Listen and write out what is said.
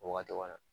O wagati kɔni